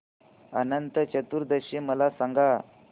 अनंत चतुर्दशी मला सांगा